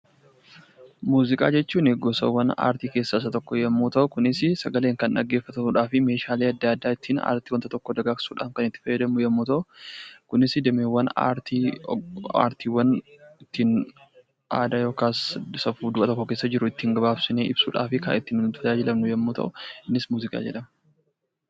Muuziqaa jechuun gosaawwan aartii keessaa isa tokko yoo ta'u, sagaleedhaan kan dhaggeeffatamuudhaafii aartiiwwan tokko tokko miidhagsuuf kan itti fayyadamnu yemmuu ta'u, kunis dameewwan aartii aadaa yookaan bifa ittiin gabaabsinee ibsuudhaaf kan fayyadamnu yemmuu ta'u, innis muuziqaa jedhama.